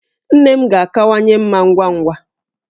Nne m ga-akawanye mma ngwa ngwa